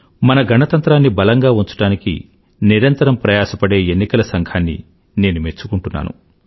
మన గణతంత్రాన్ని బలంగా ఉంచడానికి నిరంతరం ప్రయాస పడే ఎన్నికల సంఘాన్ని నేను మెచ్చుకుంటున్నాను